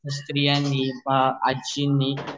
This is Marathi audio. स्त्रियांनी आजनी